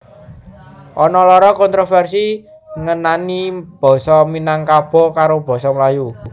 Ana loro kontroversi ngenani Basa Minangkabo karo basa Melayu